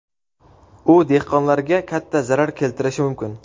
U dehqonlarga katta zarar keltirishi mumkin.